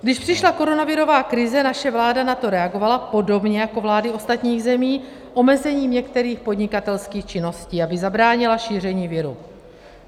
Když přišla koronavirová krize, naše vláda na to reagovala, podobně jako vlády ostatních zemí, omezením některých podnikatelských činností, aby zabránila šíření viru.